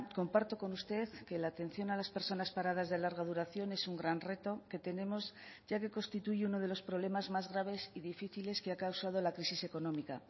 comparto con usted que la atención a las personas paradas de larga duración es un gran reto que tenemos ya que constituye uno de los problemas más graves y difíciles que ha causado la crisis económica